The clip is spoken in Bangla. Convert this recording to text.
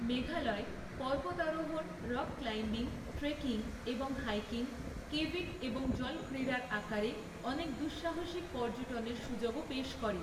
মেঘালয় পর্বতারোহণ, রক ক্লাইম্বিং, ট্রেকিং এবং হাইকিং, কেভিং এবং জল ক্রীড়ার আকারে অনেক দুঃসাহসিক পর্যটনের সুযোগও পেশ করে।